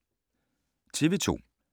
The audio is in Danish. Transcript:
TV 2